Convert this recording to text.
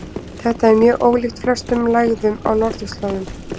Þetta er mjög ólíkt flestum lægðum á norðurslóðum.